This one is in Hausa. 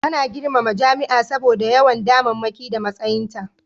Ana girmama jami'a saboda yawan damammaki da matsayinta